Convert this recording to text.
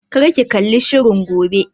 Kar ki kalli shirin gobe!